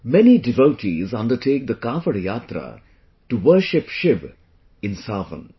Many devotees undertake the Kanwar Yatra to worship Shiva in Sawan